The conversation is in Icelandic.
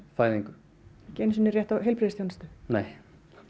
fæðingu ekki einu sinni rétt á heilbrigðisþjónustu nei